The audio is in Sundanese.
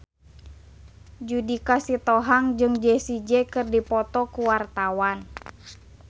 Judika Sitohang jeung Jessie J keur dipoto ku wartawan